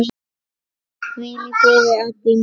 Hvíl í friði, Addý mín.